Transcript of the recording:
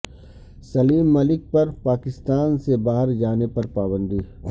سلیم ملک پر پاکستان سے باہر جانے پر پابندی ہے